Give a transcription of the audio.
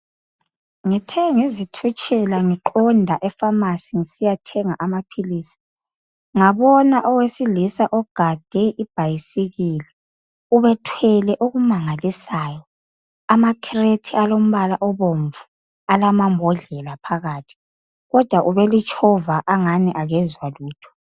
Ngithe ngizithutshela ngiqonda e Famasi ngisiyathenga amaphilisi ngabona owesilisa ogade ibhayisikili ubethwele okumangalisayo amakhirethi alombala obomvu alamambodlela phakathi kodwa ubelitshova angani akezwa lutho.